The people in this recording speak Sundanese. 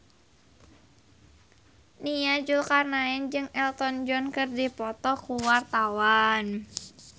Nia Zulkarnaen jeung Elton John keur dipoto ku wartawan